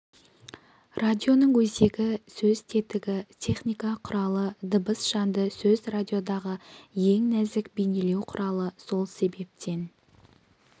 радионың өзегі сөз тетігі техника құралы дыбыс жанды сөз радиодағы ең нәзік бейнелеу құралы сол себептен